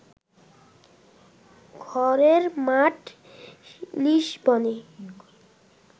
ঘরের মাঠ লিসবনে